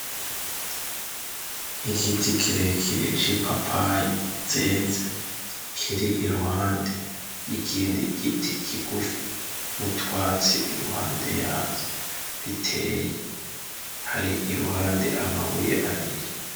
Igiti kirekire cipapayi zeza, kiri iruhande ry'igindi igiti kigufi nutwatsi iruhande yayo biteye, hari iruhande amabuye abiri.